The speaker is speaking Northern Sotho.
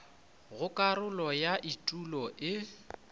go karolo ya etulo e